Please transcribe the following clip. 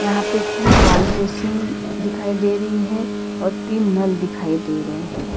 यहां पे तीन वॉश बेसिन दिखाई दे रही है और तीन नल दिखाई दे रहे हैं।